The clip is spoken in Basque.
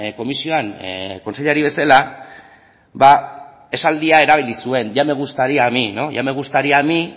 komisioan kontseilari bezala esaldia erabili zuen ya me gustaría a mí